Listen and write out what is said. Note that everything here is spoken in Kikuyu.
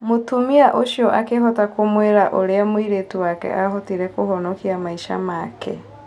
Mũtumia ũcio akĩhota kũmwĩra ũrĩa mũirĩtu wake ahotire kũhonokia maica make.